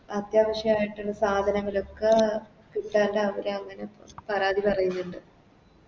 അത്യാവശ്യയിട്ട്ള്ള സാധനങ്ങളൊക്കെ കിട്ടാത്ത അവരങ്ങനെ പരാതി പറയുന്നുണ്ട്